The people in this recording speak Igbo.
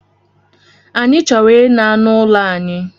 Anyị chọrọ ina n'ụlọ anyị